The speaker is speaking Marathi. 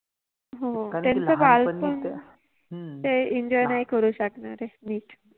हो त्यांच बालपण, ह्म्म ते Enjoy नाहि करु शकनार आहे निट